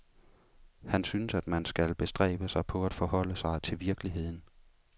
Han synes at man skal bestræbe sig på at forholde sig til virkeligheden.